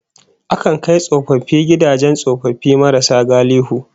Akan kai tsofaffi gidajen tsofaffi marasa galihu